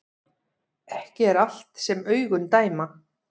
Ekki er allt sem augun dæma